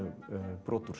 brot úr